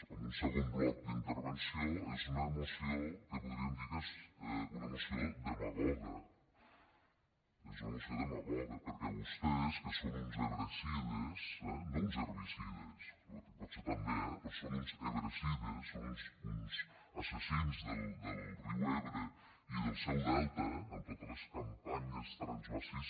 en un segon bloc d’intervenció és una moció que podríem dir que és una moció demagoga és una moció demagoga perquè vostès que són uns ebrecides eh no uns herbicides que potser també però són uns ebrecides són uns assassins del riu ebre i del seu delta amb totes les campanyes transvasis